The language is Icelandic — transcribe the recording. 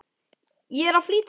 Ég er að flýta mér!